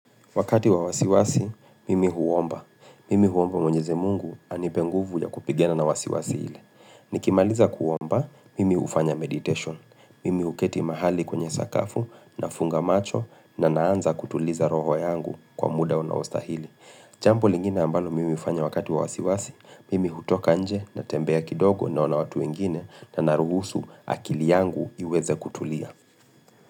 Wakati wa wasiwasi, mimi huomba. Mimi huomba mwenyeze mungu anipe nguvu ya kupigana na wasiwasi ile. Nikimaliza kuomba, mimi hufanya meditation. Mimi huketi mahali kwenye sakafu na funga macho na naanza kutuliza roho yangu kwa muda unaostahili. Jambo lingine ambalo mimi hufanya wakati wa wasiwasi, mimi hutoka nje na tembea kidogo naona watu wengine na naruhusu akili yangu iweze kutulia.